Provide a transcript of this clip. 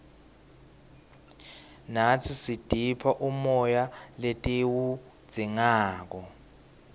natsi sitipha umoya letiwudzingako